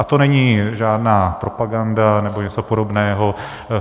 A to není žádná propaganda nebo něco podobného.